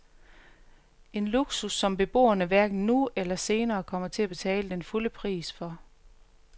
En luksus, som beboerne hverken nu eller senere kommer til at betale den fulde pris for.